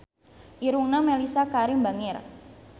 Irungna Mellisa Karim bangir